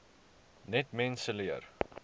net mense leer